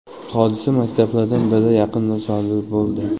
Hodisa maktablardan biri yaqinida sodir bo‘ldi.